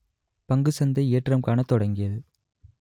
பங்கு சந்தை ஏற்றம் காணத் தொடங்கியது